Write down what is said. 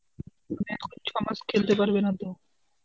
মানে এখন ছমাস খেলতে পারবে না তো.